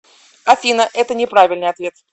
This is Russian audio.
афина это не правильный ответ